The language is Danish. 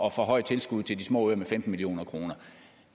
at forhøje tilskuddet til de små øer med femten million kroner og